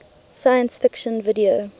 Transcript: science fiction video